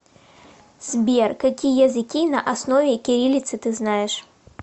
сбер какие языки на основе кириллицы ты знаешь